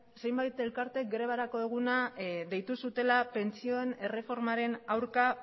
zenbat elkarteek grebarako eguna deitu zutela pentsioen erreformaren aurka